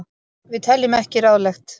Við teljum ekki ráðlegt.